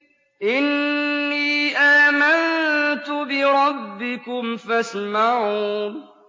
إِنِّي آمَنتُ بِرَبِّكُمْ فَاسْمَعُونِ